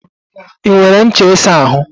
I nwere ncha isa ahu?